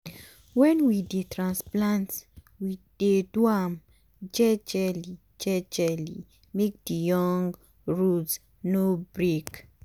wen we dey transplant we dey do am jejely jejely make the young root no break.